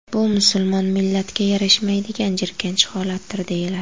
Bu musulmon millatiga yarashmaydigan jirkanch holatdir”, deyiladi.